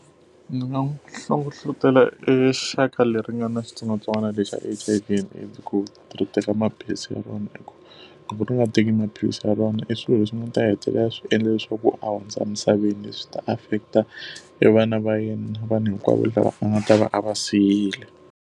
Ndzi nga n'wi hlohletela exaka leri nga ni xitsongwatsongwana lexi a H_I_V and AIDS ku ri teka maphilisi ya rona hikuva loko ri nga teki maphilisi ya rona i swilo leswi nga ta hetelela swi endla leswaku a hundza emisaveni, leswi ta affect-a e vana va yena na vanhu hinkwavo lava a nga ta va a va siyile.